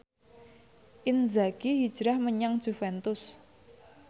Inzaghi hijrah menyang Juventus